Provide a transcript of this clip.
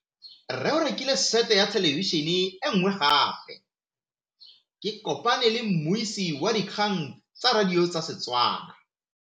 Rre o rekile sete ya thêlêbišênê e nngwe gape. Ke kopane mmuisi w dikgang tsa radio tsa Setswana.